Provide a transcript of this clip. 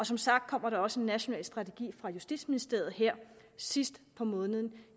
som sagt kommer der også en national strategi fra justitsministeriet her sidst på måneden